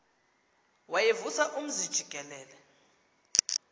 wayevusa umzi jikelele